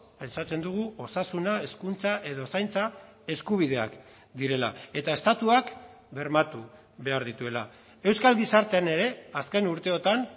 pentsatzen dugu osasuna hezkuntza edo zaintza eskubideak direla eta estatuak bermatu behar dituela euskal gizartean ere azken urteotan